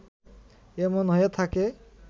এমন হয়ে থাকে